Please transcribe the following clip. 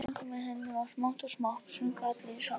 Ég söng með henni og smátt og smátt sungu allir í salnum.